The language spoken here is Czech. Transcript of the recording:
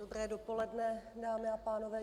Dobré dopoledne, dámy a pánové.